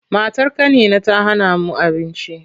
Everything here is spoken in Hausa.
Matar ƙanina ta hana mu abinci.